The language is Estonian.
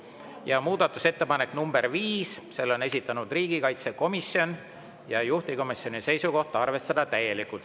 Ja muudatusettepanek nr 5: selle on esitanud riigikaitsekomisjon ja juhtivkomisjoni seisukoht on arvestada seda täielikult.